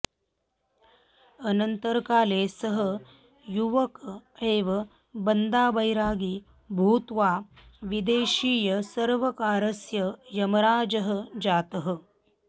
अनन्तरकाले सः युवक एव बन्दाबैरागी भूत्वा विदेशीयसर्वकारस्य यमराजः जातः